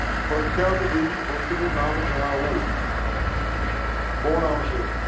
પ્રખ્યાત દેવી ભક્ત નું નામ જણાવો. કોણ આવશે?